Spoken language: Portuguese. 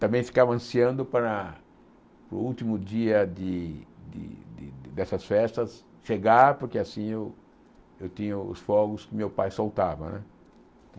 Também ficava ansiando para o último dia de de dessas festas chegar, porque assim eu tinha os fogos que meu pai soltava, né?